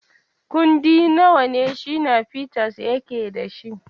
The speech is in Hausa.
Kundi nawa ne Shina Peters yake da shi?